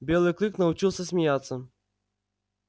белый клык научился смеяться